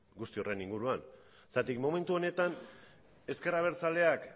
guzti horren inguruan zergatik momentu honetan ezker abertzaleak